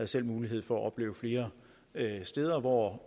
selv mulighed for at opleve flere steder hvor